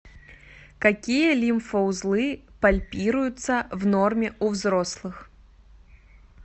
какие лимфоузлы пальпируются в норме у взрослых